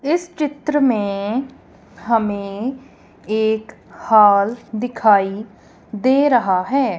इस चित्र में हमें एक हॉल दिखाई दे रहा है।